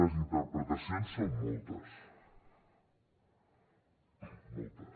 les interpretacions són moltes moltes